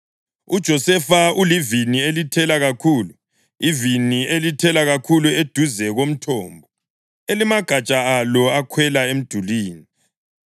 UJosefa ulivini elithela kakhulu, ivini elithela kakhulu eduze komthombo, elimagatsha alo akhwela emdulini.